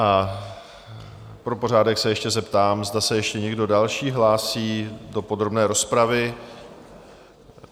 A pro pořádek se ještě zeptám, zda se ještě někdo další hlásí do podrobné rozpravy?